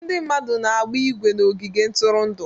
Ndị mmadụ na-agba ígwè na ogige ntụrụndụ.